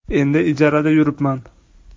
Endi ijarada yuribman”.